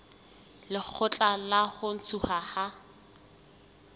lekgotla la ho ntshuwa ha